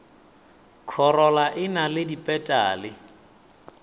khorola e na le dipetale